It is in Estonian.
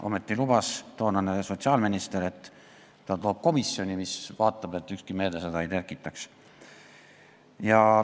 Ometi lubas toonane sotsiaalminister, et ta loob komisjoni, mis vaatab, et ükski meede seda ei tekitaks.